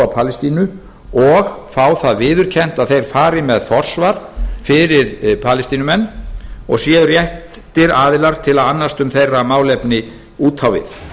palestínu og fá það viðurkennt að þeir fari með forsvar fyrir palestínumenn og séu réttir aðilar til að annast um meira málefni út á við